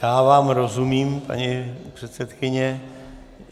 Já vám rozumím, paní předsedkyně.